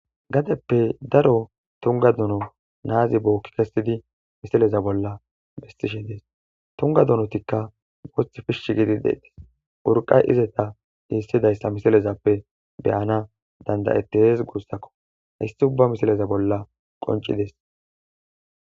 gadeppe daro tunga dono naazi bookki kessidi misileza bolla bestishe dees tunga dunotikka wox pishshi gidi deetis urqay izeta hiissidayssa misalezappe beyana dandayettes guussakko hayssi ubba misileza bolla qoncidees